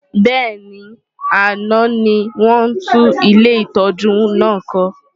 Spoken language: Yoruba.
Bẹ́ẹ̀ni, àná ni wọ́n tún ilé ìtọ́jú náà kọ́.